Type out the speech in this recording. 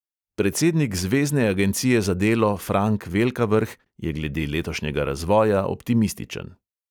Predsednik zvezne agencije za delo frank velkavrh je glede letošnjega razvoja optimističen.